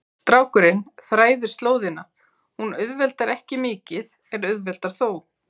Strákurinn þræðir slóðina, hún auðveldar ekki mikið en auðveldar þó.